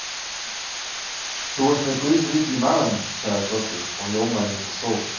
Þú ert með Guðsríki í maganum, sagði Doddi og ljómaði eins og sól.